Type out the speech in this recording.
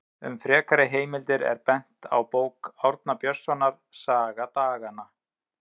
Um frekari heimildir er bent á bók Árna Björnssonar, Saga daganna.